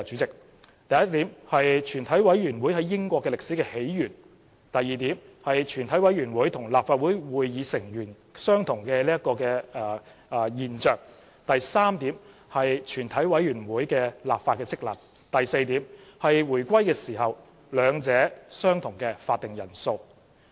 第一是全委會在英國的歷史起源；第二是全委會和立法會會議成員相同；第三是全委會的立法職能；第四是回歸時兩者相同的會議法定人數。